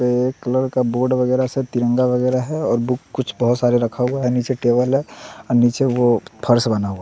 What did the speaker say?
और बुक कुछ बहुत सारे रखा हुआ है नीचे टेबल है और नीचे वो फर्श बना हुआ है।